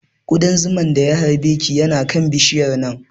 Ƙudan zuman da ya harbe ki yana kan bishiyar nan